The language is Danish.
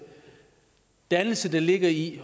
dannelse der ligger i